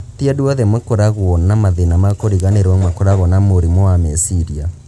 Ti andũ othe makoragwo na mathĩna ma kũriganĩrwo makoragwo na mũrimũ wa meciria